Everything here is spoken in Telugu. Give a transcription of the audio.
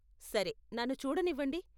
సరే, నన్ను చూడనివ్వండి.